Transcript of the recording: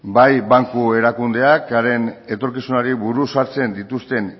bai banku erakundeak haren etorkizunari buruz hartzen dituzten